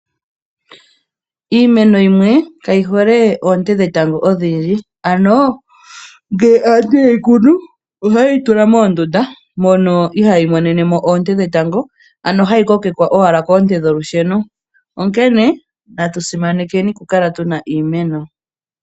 Iimeno yimwe kayi hole oonte dhetango odhindji. Ano ngele aantu yeyi kunu oha yeyi tula moondunda, mono ihayi monenemo oonte dhetango, ano hayi kokekwa owala koonte dholusheno, onkene natu simanekeni oku kala tuna iimeno.